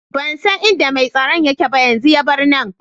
Ban san inda mai tsaron yake ba, yanzun ya bar nan.